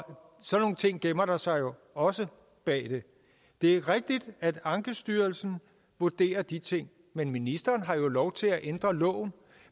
sådan nogle ting gemmer der sig jo også bag det det er rigtigt at ankestyrelsen vurderer de ting men ministeren har jo lov til at ændre loven